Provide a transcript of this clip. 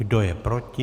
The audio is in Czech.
Kdo je proti?